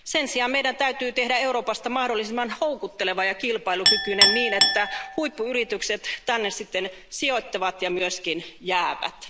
Sen sijaan meidän täytyy tehdä Euroopasta mahdollisimman houkutteleva ja kilpailukykyinen, niin että huippuyritykset tänne sitten sijoittavat ja myöskin jäävät.